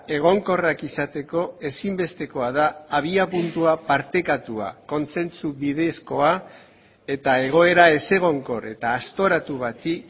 egonkorrak izateko ezinbestekoa da abiapuntua partekatua kontsentsu bidezkoa eta egoera ezegonkor eta aztoratu bati